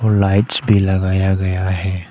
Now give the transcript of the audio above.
और लाइट्स भी लगाया गया है।